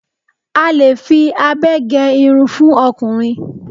a lè fi abẹ ge Irun fún okùnrin